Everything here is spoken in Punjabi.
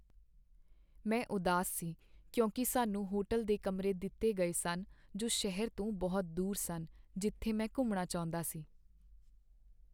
ਮੈਂ ਉਦਾਸ ਸੀ ਕਿਉਂਕਿ ਸਾਨੂੰ ਹੋਟਲ ਦੇ ਕਮਰੇ ਦਿੱਤੇ ਗਏ ਸਨ ਜੋ ਸ਼ਹਿਰ ਤੋਂ ਬਹੁਤ ਦੂਰ ਸਨ ਜਿੱਥੇ ਮੈਂ ਘੁੰਮਣਾ ਚਾਹੁੰਦਾ ਸੀ।